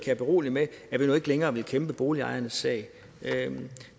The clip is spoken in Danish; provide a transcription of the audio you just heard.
jeg berolige med at vi nu ikke længere vil kæmpe boligejernes sag